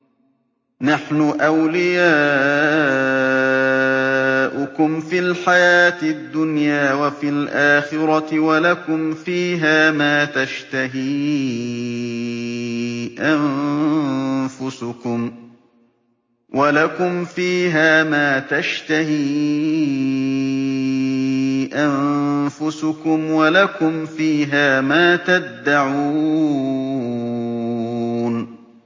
نَحْنُ أَوْلِيَاؤُكُمْ فِي الْحَيَاةِ الدُّنْيَا وَفِي الْآخِرَةِ ۖ وَلَكُمْ فِيهَا مَا تَشْتَهِي أَنفُسُكُمْ وَلَكُمْ فِيهَا مَا تَدَّعُونَ